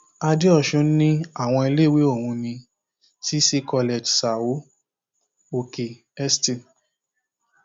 àdéosùn ní àwọn iléèwé ọhún ní cc college são òkè st